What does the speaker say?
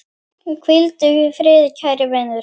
Hvíldu í friði kæri vinur.